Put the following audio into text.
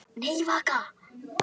Já já og nei nei.